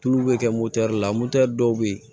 Tulu bɛ kɛ la dɔw bɛ yen